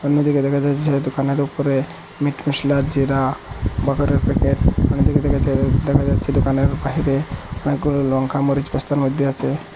অন্যদিকে দেখা যাচ্ছে যে দোকানের ওপরে মিট মশলা জিরা মটরের প্যাকেট অন্যদিকে দেখা যায় দেখা যাচ্ছে দোকানের বাহিরে অনেকগুলো লঙ্কা মরিচ বস্তার মধ্যে আছে।